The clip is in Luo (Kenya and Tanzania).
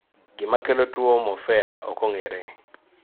Gima kelo tuo morphea okong'ere